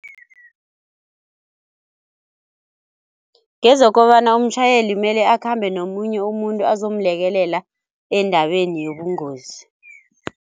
Ngezokobana umtjhayeli mele akhambe nomunye umuntu azomlekelela endaweni yobungozi.